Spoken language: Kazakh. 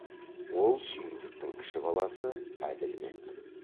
ол сүйіндіктің кіші баласы әділбек